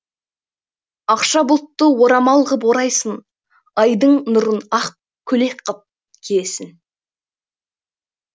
ақша бұлтты орамал ғып орайсың айдың нұрын ақ көлек қып киесің